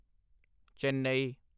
Chennai